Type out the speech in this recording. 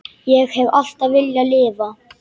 Ég hef alltaf viljað lifa.